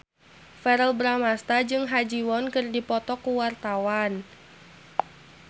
Verrell Bramastra jeung Ha Ji Won keur dipoto ku wartawan